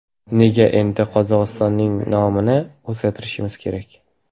Nega endi Qozog‘istonning nomini o‘zgartirishimiz kerak?